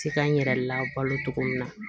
Se ka n yɛrɛ labalo cogo min na